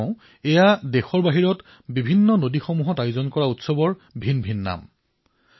মই কৈছো এয়া দেশৰ বাৰখন পৃথক পৃথক নদীত যি উৎসৱ আয়োজিত হয় তাৰে ভিন্ন ভিন্ন নাম